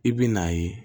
I bɛ n'a ye